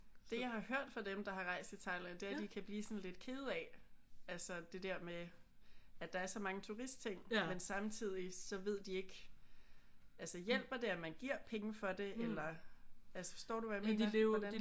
Det jeg har hørt fra dem der har rejst i Thailand det er at de kan blive sådan lidt kede af altså det der med at der er så mange turistting men samtidig så ved de ikke altså hjælper det at man giver penge for det eller? Altså forstår du hvad jeg mener? Hvordan?